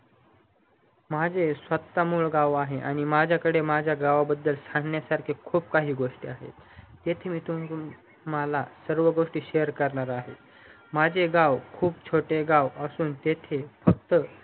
माझे स्वता मूळ गाव आहे आणि माझ्याकडे माझ्या गावाबद्दल सांगण्यासाठी खूप काही गोष्टी आहेत तेथून मी तुम्हाला खूप गोष्टी share करणार आहे माझे गाव खूप छोटे गाव असून तेथे फक्त